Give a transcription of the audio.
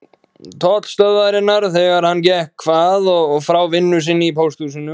Tollstöðvarinnar þegar hann gekk að og frá vinnu sinni í Pósthúsinu.